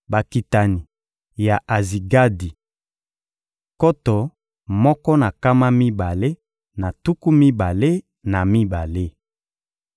Bakitani ya Azigadi: nkoto moko na nkama mibale na tuku mibale na mibale.